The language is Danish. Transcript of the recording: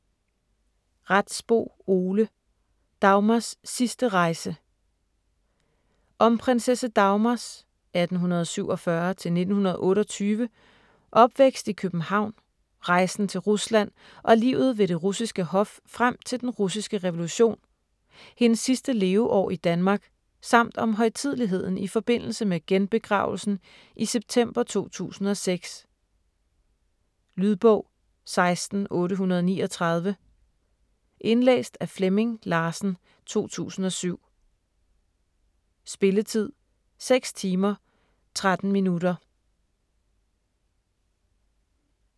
Retsbo, Ole: Dagmars sidste rejse Om prinsesse Dagmars (1847-1928) opvækst i København, rejsen til Rusland og livet ved det russiske hof frem til Den Russiske Revolution, hendes sidste leveår i Danmark samt om højtideligheden i forbindelse med genbegravelsen i september 2006. Lydbog 16839 Indlæst af Flemming Larsen, 2007. Spilletid: 6 timer, 13 minutter.